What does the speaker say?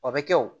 O bɛ kɛ o